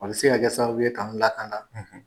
A bi se ka kɛ sababuw ye kan latanga